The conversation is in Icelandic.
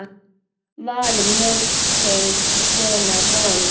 Var mjólkin svona vond?